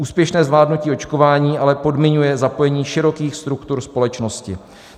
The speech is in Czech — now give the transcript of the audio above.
Úspěšné zvládnutí očkování ale podmiňuje zapojení širokých struktur společnosti."